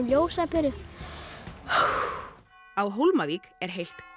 ljósaperu á Hólmavík er heilt